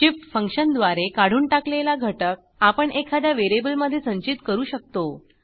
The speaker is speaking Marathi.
shift फंक्शनद्वारे काढून टाकलेला घटक आपण एखाद्या व्हेरिएबलमधे संचित करू शकतो